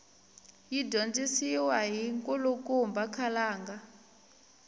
yi dyondzisiwa hi nkulukumba khalanga